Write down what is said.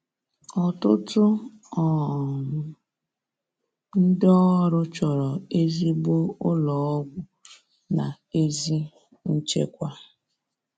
Ọtụtụ um ndị ọrụ chọrọ ezigbo ụlọ ọgwụ na ezi nchekwa